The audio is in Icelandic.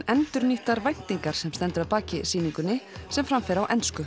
endurnýttar væntingar sem stendur að baki sýningunni sem fram fer á ensku